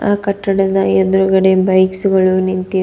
ಆ ಕಟ್ಟಡದ ಎದುರುಗಡೆ ಬೈಕ್ಸ್ ಗಳು ನಿಂತಿ --